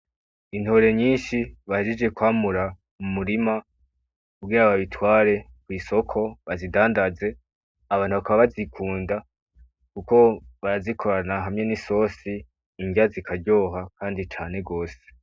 Intore nyishi bahejeje kwamura mu murima kugira babitware mu isoko bazidandaze abantu bakaba bazikunda kuko barazikorana hamwe n'isosi indya zikaryoha kandi cane gose.